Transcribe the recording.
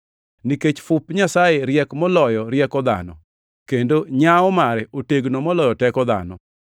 Nikech fup Nyasaye riek moloyo rieko dhano, kendo nyawo mare otegno moloyo teko dhano.